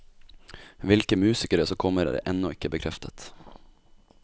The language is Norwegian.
Hvilke musikere som kommer, er ennå ikke bekreftet.